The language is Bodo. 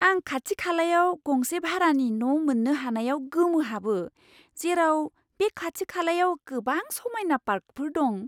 आं खाथि खालायाव गंसे भारानि न' मोन्नो हानायाव गोमोहाबो, जेराव बे खाथि खालायाव गोबां समायना पार्कफोर दं!